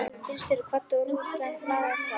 Bílstjórinn kvaddi og rútan lagði af stað.